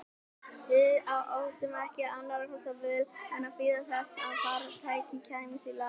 Við áttum ekki annarra kosta völ en að bíða þess að farartækið kæmist í lag.